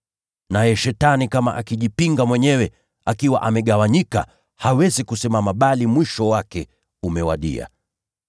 Naye Shetani kama akijipinga mwenyewe na awe amegawanyika, hawezi kusimama bali mwisho wake umewadia.